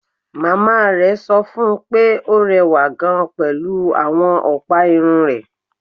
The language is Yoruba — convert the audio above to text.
Màmá rẹ̀ sọ fún un pé ó rẹwà gan-an pẹ̀lú àwọn ọ̀pá irun rẹ̀